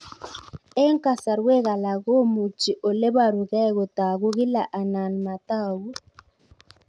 Eng' kasarwek alak komuchi ole parukei kotag'u kila anan matag'u